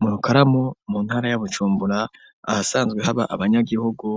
Mu Rukaramu mu ntara ya Bucumbura, ahasanzwe haba abanyagihugu